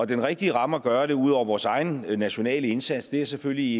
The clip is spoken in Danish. den rigtige ramme at gøre det i ud over vores egen nationale indsats er selvfølgelig